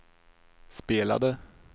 spelade